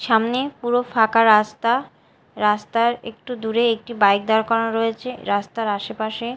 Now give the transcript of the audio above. সামনে পুরো ফাঁকা রাস্তা রাস্তার একটু দূরে একটি বাইক দাড় করানো রয়েছে রাস্তার আসেপাশে--